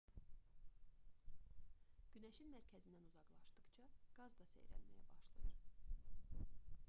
günəşin mərkəzindən uzaqlaşdıqca qaz da seyrəlməyə başlayır